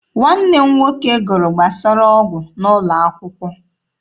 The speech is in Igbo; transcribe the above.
Nwanne m nwoke gụrụ gbasara ọgwụ n'ụlọ akwụkwọ.